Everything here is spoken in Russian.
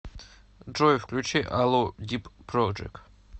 джой включи алло дип проджект